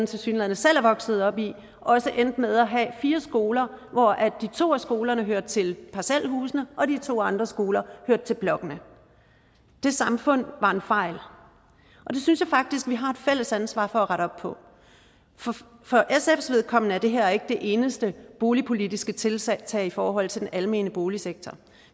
tilsyneladende selv er vokset op i endte med at have fire skoler hvoraf de to af skolerne hørte til parcelhusene og de to andre skoler hørte til blokkene det samfund var en fejl og det synes jeg faktisk vi har et fælles ansvar for at rette op på for sfs vedkommende er det her ikke det eneste boligpolitiske tiltag i forhold til den almene boligsektor